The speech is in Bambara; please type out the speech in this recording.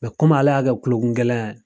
komi ale y'a kɛ kulokun gɛlɛya ye.